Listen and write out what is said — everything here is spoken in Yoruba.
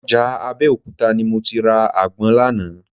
Ọjà Abẹ́òkúta ni mo ti ra àgbọn lánàá